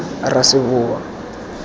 raseboa